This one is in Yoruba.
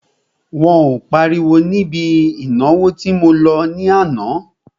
Wọn ò páriwo níbi ìnáwó tí mo lọ ní àná.